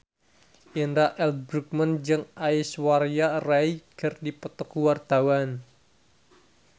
Indra L. Bruggman jeung Aishwarya Rai keur dipoto ku wartawan